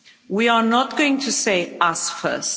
We are not going to say us first'.